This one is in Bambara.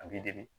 A b'i dege